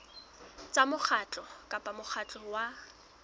tsa mokgatlo kapa mokgatlo wa